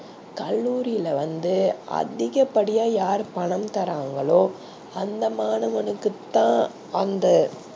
கல்லுரில வந்து அதிக படியா யார் பணம் தராங்களோ அந்த மாணவனுக்கு தா அந்த